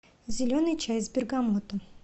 зеленый чай с бергамотом